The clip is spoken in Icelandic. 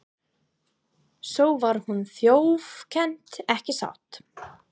Svo var hún þjófkennd, ekki satt?